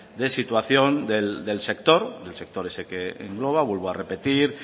de situación del sector del sector ese que engloba vuelvo a repetir